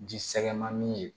Ji sɛgɛn man di ye